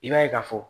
I b'a ye ka fɔ